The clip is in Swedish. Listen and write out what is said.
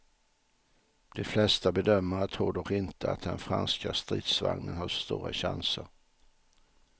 De flesta bedömare tror dock inte att den franska stridsvagnen har så stora chanser.